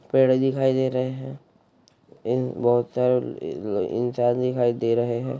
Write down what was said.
पेड़ दिखाई दे रहे है ए बोहोत सारे ए ए ल इंसान दिखाई दे रहे है।